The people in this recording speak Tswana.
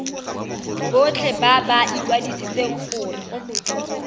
botlhe ba ba ikwadisitseng gore